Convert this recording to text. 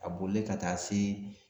A bolilen ka taa se